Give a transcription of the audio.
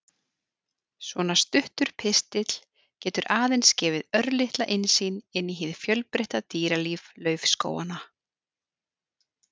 Svona stuttur pistill getur aðeins gefið örlitla innsýn inn í hið fjölbreytta dýralíf laufskóganna.